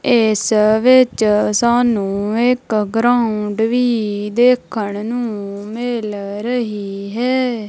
ਇਸ ਵਿੱਚ ਸਾਨੂੰ ਇਕ ਗਰਾਉਡ ਵੀ ਦੇਖਣ ਨੂੰ ਮਿਲ ਰਹੀ ਹੈ।